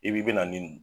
I b'i bɛna nin